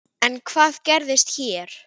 En hvað gerist hér?